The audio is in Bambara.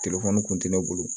kun tɛ ne bolo